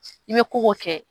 I bɛ ko o ko kɛ